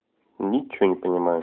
ничего не понимаю